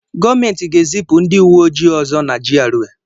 Gọọmenti ga-ezipụ ndị uwe ojii ọzọ na GRA